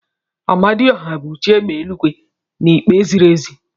Amadiohia bu chi égbè eluigwe na ikpe ziri ezi.